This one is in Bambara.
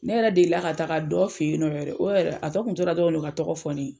Ne yɛrɛ delila ka taa ka dɔ fɛ yen nɔ, o yɛrɛ a tɔ kun tora dɔrɔn o ka tɔgɔ fɔ ne ye.